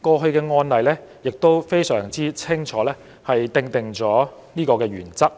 過去的案例亦清楚確定這個原則。